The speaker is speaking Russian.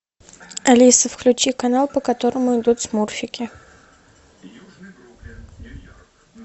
алиса включи канал по которому идут смурфики